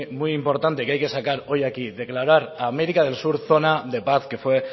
muy importante que hay que sacar hoy aquí declarar a américa del sur zona de paz que fue